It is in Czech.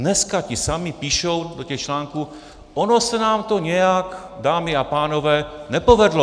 Dneska ti samí píšou do těch článků: Ono se nám to nějak, dámy a pánové, nepovedlo.